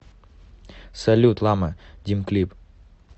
салют лама дим клип